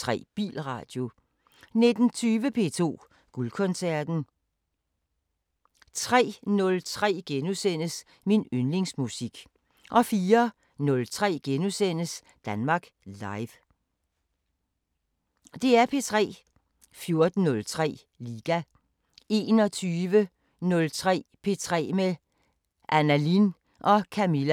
05:03: P4 Natradio 06:03: Morgenstund 07:03: Regionale programmer 10:03: Hit med historien 12:15: Radiosporten 12:17: Søndag på P4 12:32: Søndag på P4 14:03: Søskendespillet: Karen Ellemann og Jakob Ellemann-Jensen 16:04: Madsen